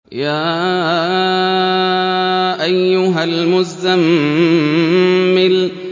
يَا أَيُّهَا الْمُزَّمِّلُ